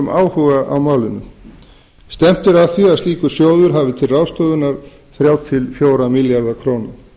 áhuga á málinu stefnt er að því að slíkur sjóður hafi til ráðstöfunar þriggja til fjögurra milljarða króna